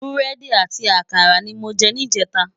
Búrèdi àti àkárá ni mó jè nijètá